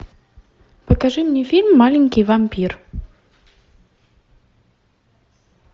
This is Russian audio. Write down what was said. покажи мне фильм маленький вампир